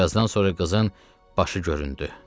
Bir azdan sonra qızın başı göründü.